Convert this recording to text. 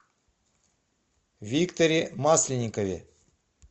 викторе масленникове